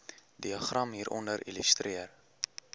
diagram hieronder illustreer